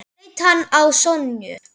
Svo leit hann á Sonju.